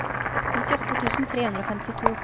nittiåtte tusen tre hundre og femtito